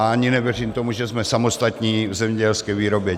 A ani nevěřím tomu, že jsme samostatní v zemědělské výrobě.